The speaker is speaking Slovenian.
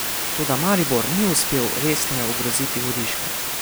Toda Maribor ni uspel resneje ogroziti Vodiška.